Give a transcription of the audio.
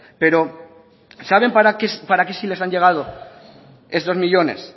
pero saben para qué sí les han llegado estos millónes